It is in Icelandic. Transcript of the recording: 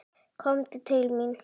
Komdu til mín.